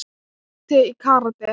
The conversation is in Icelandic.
Tóti í karate.